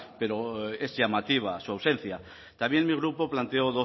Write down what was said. pero es llamativa su ausencia también mi grupo planteó